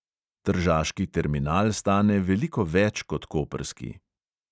Tržaški terminal stane veliko več kot koprski.